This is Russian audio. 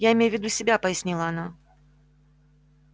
я имею в виду себя пояснила я